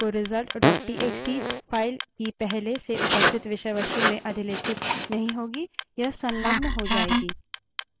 तो नई विषयवस्तु WC _ result dot TXT wc _ results txt file की पहले से उपस्थित विषयवस्तु में अधिलेखित नहीं होगी यह संलग्न हो जायेगी